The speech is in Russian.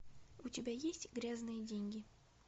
у тебя есть грязные деньги